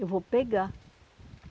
Eu vou pegar.